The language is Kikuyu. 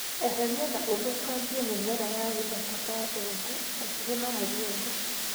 Eheria na ũthũkangie mĩmera ya gĩthaka ta ndongu hakuhĩ na mũgũnda.